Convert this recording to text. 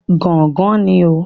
Gángan ni o.